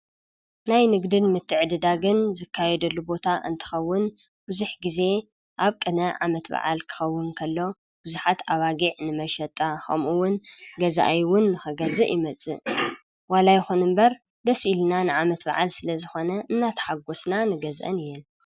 ናይ ንግድን ምትዕድዳግን ዝካየደሉ ቦታ እንትኸዉን ቡዙሕ ግዜ ኣብ ቅነ ዓመት በዓል ክኸዉን ከሎ ቡዙሓት ኣባጊዕ ንመሸጣ ኸምኡ ዉን ገዛኣይ ዉን ክገዝእ ይመጽእ ።ዋላ ይኹን እምበር ደስ ኢሉና ንዓመት በዓል ስለዝኾነ እናተሓጎስና ንገዝአን እየን።